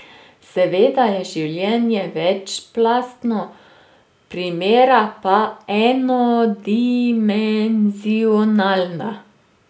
Seveda je življenje večplastno, primera pa enodimenzionalna.